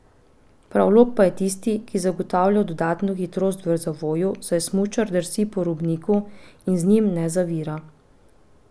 Prav lok pa je tisti, ki zagotavlja dodatno hitrost v zavoju, saj smučar drsi po robniku in z njim ne zavira.